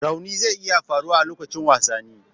Raunin zai iya faruwa a lokacin wasanni.